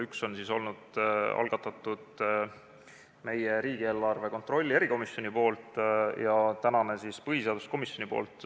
Üks oli algatatud riigieelarve kontrolli erikomisjoni poolt ja tänase on algatanud põhiseaduskomisjon.